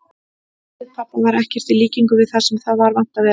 Andlit pabba var ekkert í líkingu við það sem það var vant að vera.